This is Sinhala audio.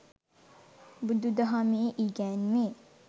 බුදුදහමේ ඉගැන්වේ.